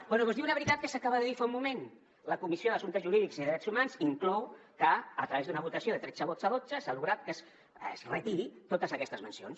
bé doncs diu una veritat que s’acaba de dir fa un moment la comissió d’assumptes jurídics i drets humans inclou que a través d’una votació de tretze vots a dotze s’ha aconseguit que es retirin totes aquestes mencions